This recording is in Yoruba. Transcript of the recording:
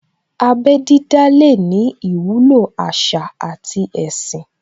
Abẹ́ dídá lè ní ìwúlò àṣà àti ẹ̀sìn